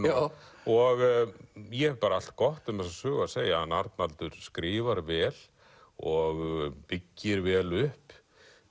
og ég hef bara allt gott um þessa sögu að segja hann Arnaldur skrifar vel og byggir vel upp